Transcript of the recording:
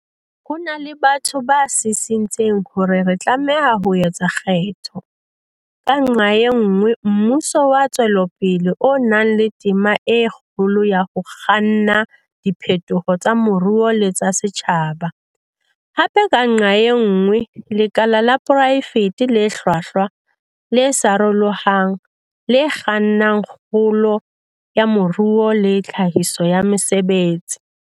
Ho na le batho ba sisintseng hore re tlameha ho etsa kgetho, ka nqa e nngwe, mmuso wa ntshetsopele o nang le tema e kgolo ya ho kganna diphetoho tsa moruo le tsa setjhaba, hape, ka nqa e nngwe, lekala la poraefete le hlwahlwa, le sarolohang, le kgannang kgolo ya moruo le tlhahiso ya mesebetsi.